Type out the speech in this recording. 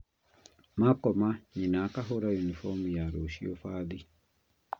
Maakoma nyina akahũra yunibomu ya rũciũ bathi